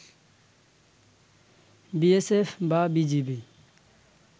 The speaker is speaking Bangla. বিএসএফ বা বিজিবি